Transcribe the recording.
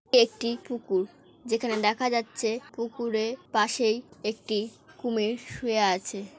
এটি একটি পুকুর। যেখানে দেখা যাচ্ছে পুকুরের পাশেই একটি কুমির শুয়ে আছে।